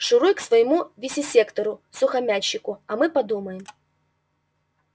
шуруй к своему вивисектору-сухомятщику а мы подумаем